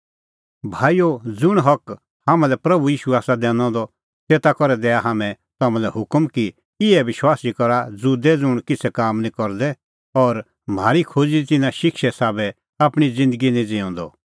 भाईओ ज़ुंण हक हाम्हां लै प्रभू ईशू आसा दैनअ द तेता करै दैआ हाम्हैं तम्हां लै हुकम कि इहै विश्वासी का रहा ज़ुदै ज़ुंण किछ़ै काम निं करदै और म्हारी खोज़ी दी तिन्नां शिक्षे साबै आपणीं ज़िन्दगी निं ज़िऊंदअ